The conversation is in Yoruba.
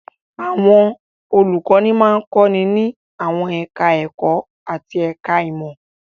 Àwọn olùkọ́ní máa ń kọ́ni ní àwọn ẹ̀ka-ẹ̀kọ́ àti ẹ̀ka-ìmọ̀.